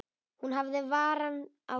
Hún hafði varann á sér.